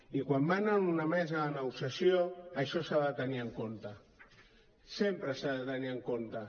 i quan van a una mesa de negociació això s’ha de tenir en compte sempre s’ha de tenir en compte